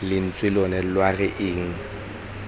lentswe lona lwa re eng